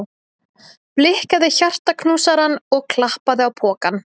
Blikkaði hjartaknúsarann og klappaði á pokann.